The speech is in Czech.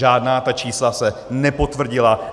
Žádná ta čísla se nepotvrdila.